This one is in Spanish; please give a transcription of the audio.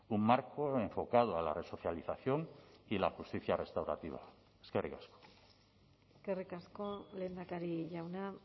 un marco enfocado a la resocialización y la justicia restaurativa eskerrik asko eskerrik asko lehendakari jauna